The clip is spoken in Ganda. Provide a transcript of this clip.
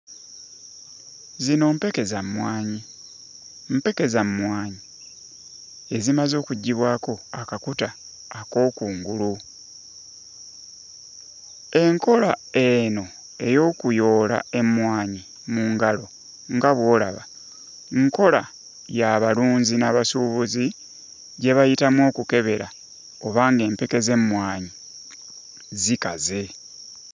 Zino mpeke za mmwanyi, mpeke za mmwanyi ezimaze okuggyibwako akakuta ak'okungulu, enkola eno ey'okuyoola emmwanyi mu ngalo nga bw'olaba, nkola y'abalunzi n'abasuubuzi gye bayitamu okukebera oba ng'empeke z'emmwanyi zikaze.